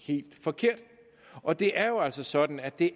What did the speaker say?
helt forkert og det er jo altså sådan at det